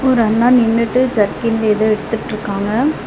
ஒரு அண்ணா நின்னுட்டு ஜெர்கின்ல எதோ எடுத்துட்ருக்காங்க.